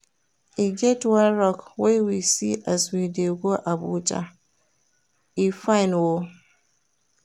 E get one rock wey we see as we dey go Abuja, e fine o.